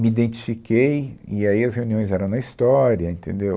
Me identifiquei, e aí as reuniões eram na história, entendeu?